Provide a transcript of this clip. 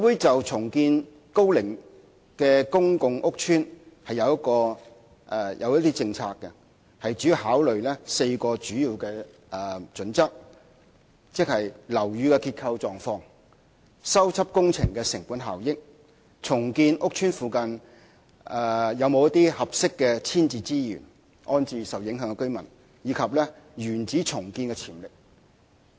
就重建樓齡高的公共屋邨，房委會訂有一些政策，主要考慮4項準則，即：樓宇的結構狀況、修葺工程的成本效益、重建屋邨附近是否有一些合適的遷置資源安置受影響的居民，以及原址重建的潛力。